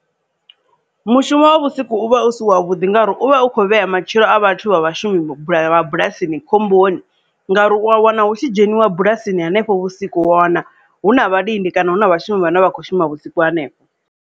Mushumo wa vhusiku u vha u si wa vhuḓi ngauri u vha u kho vhea matshilo a vhathu vha vhashumi bula bulasini khomboni ngauri u a wana hu tshi dzheniwa bulasini hanefho vhusiku wana hu na vhalindi kana hu na vhashumi vhane vha kho shuma vhusiku hanefho.